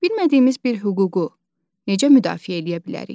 Bilmədiyimiz bir hüququ necə müdafiə eləyə bilərik?